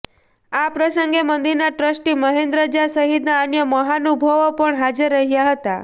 આ પ્રસંગે મંદિરના ટ્રસ્ટી મહેન્દ્ર ઝા સહિતના અન્ય મહાનુભાવો પણ હાજર રહ્યા હતા